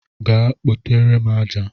Gaa kpotere m aja!